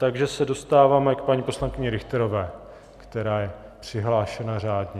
Takže se dostáváme k paní poslankyni Richterové, která je přihlášena řádně.